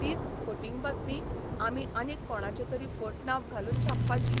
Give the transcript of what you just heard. तीच फटिंग बातमी आमी आनीक कोणाचें तरी फट नांब घालून छापपाची.